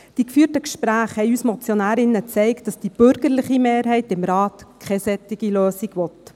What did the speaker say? Die geführten Gespräche zeigten uns Motionärinnen, dass die bürgerliche Mehrheit im Rat keine solche Lösung will.